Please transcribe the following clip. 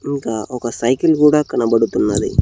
ఇంకా ఒక సైకిల్ గూడా కనబడుతున్నది.